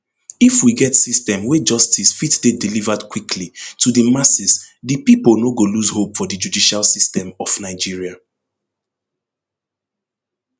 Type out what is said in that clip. if we get system wey justice fit dey delivered quickly to di masses di pipo no go lose hope for di judicial system of nigeria